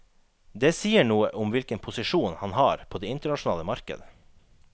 Det sier noe om hvilken posisjon han har på det internasjonale marked.